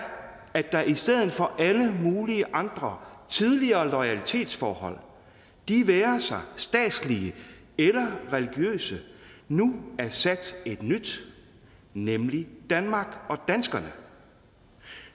at der i stedet for alle mulige andre tidligere loyalitetsforhold de være sig statslige eller religiøse nu er sat et nyt nemlig danmark og danskerne